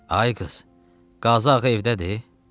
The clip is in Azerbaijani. Ay qız, Qazıağa evdədir?